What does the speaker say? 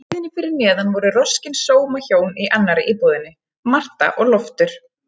Á hæðinni fyrir neðan voru roskin sómahjón í annarri íbúðinni, Marta og Loftur.